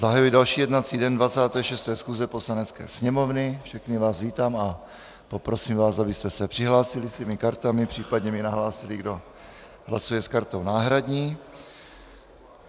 Zahajuji další jednací den 26. schůze Poslanecké sněmovny, všechny vás vítám a poprosím vás, abyste se přihlásili svými kartami, případně mi nahlásili, kdo hlasuje s kartou náhradní.